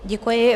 Děkuji.